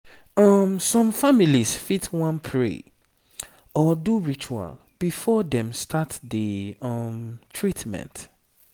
some families fit wan pray or do ritual before dem start the um treatment